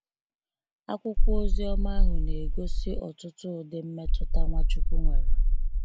Akwụkwọ oziọma ahụ na egosi ọtụtụ ụdị mmetụta Nwachukwu nwere.